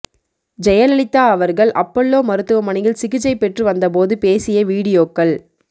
ஜெயலலிதா அவர்கள் அப்பல்லோ மருத்துவமனையில் சிகிச்சை பெற்று வந்த போது பேசிய வீடியோக்கள்